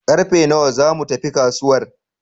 Karfe nawa za mu tafi kasuwar?